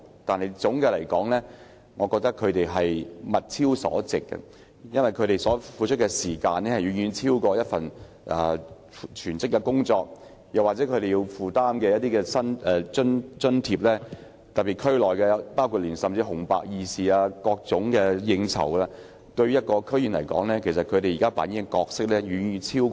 但總的來說，我覺得他們"物超所值"，因為他們付出的時間，遠遠超過為一份全職工作付出的時間，而且他們更要以得到的津貼，應付不同事務，甚至包括所屬地區的紅白二事和應酬等。